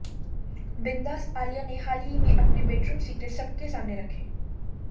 बिंदास आलिया ने हाल ही में अपने बेडरूम सीक्रेट्स सबके सामने रखे